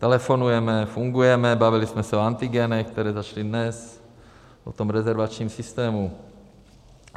Telefonujeme, fungujeme, bavili jsme se o antigenech, které začaly dnes, o tom rezervačním systému.